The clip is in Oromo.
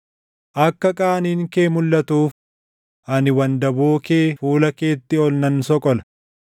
“Akka qaaniin kee mulʼatuuf ani wandaboo kee fuula keetti ol nan soqola.